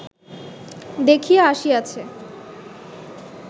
দেখিয়া আসিয়াছে